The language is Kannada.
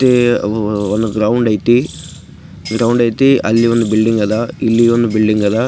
ಅವು ಒಂದು ಗ್ರೌಂಡ್ ಐತಿ. ಗ್ರೌಂಡ್ ಐತಿ. ಅಲ್ಲಿ ಒಂದ್ ಬಿಲ್ಡಿಂಗ್ ಅದ ಇಲ್ಲಿ ಒಂದು ಬಿಲ್ಡಿಂಗ್ ಅದ .